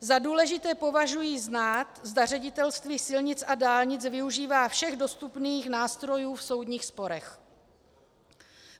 Za důležité považuji znát, zda Ředitelství silnic a dálnic využívá všech dostupných nástrojů v soudních sporech.